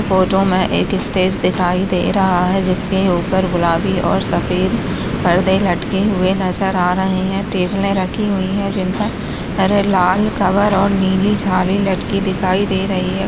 Photo में एक stage दिखाई दे रहा है जिस के ऊपर गुलाबी और सफेद पर्दे लटके हुए नज़र आ रहे है टेबल रखी हुई है जिन पर लाल कवर और नीली जाली लटकी दिखाई दे रही है।